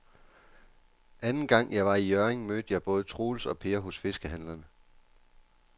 Anden gang jeg var i Hjørring, mødte jeg både Troels og Per hos fiskehandlerne.